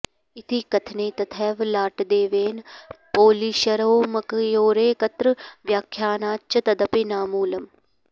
इति कथने तथैव लाटदेवैन पोलिशरोमकयोरेकत्र व्याख्यानाच्च तदपि नामूलम्